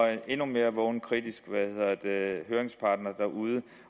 endnu mere vågne kritiske høringsparter derude